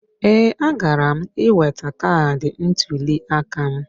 Ee, agara m iweta kaadị ntụliaka m.